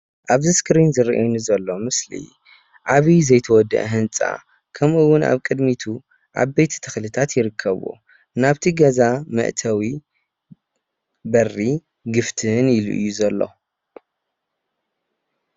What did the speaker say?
ኣብዚ እስክሪን ዝረኣየኒ ዘሎ ምስሊ ዓብዪ ዘይተወድአ ህንፃ ከምኡ እዉን ኣብ ቅድሚቱ ዓበይቲ ተኽልታት ይርከቡ። ናብቲ ገዛ መእተዊ በሪ ግፍትን ኢሉ እዩ ዘሎ።